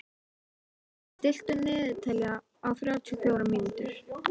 Elínóra, stilltu niðurteljara á þrjátíu og fjórar mínútur.